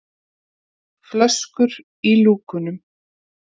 flöskur í lúkunum.